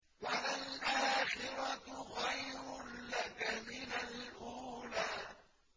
وَلَلْآخِرَةُ خَيْرٌ لَّكَ مِنَ الْأُولَىٰ